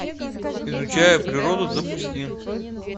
изучая природу запусти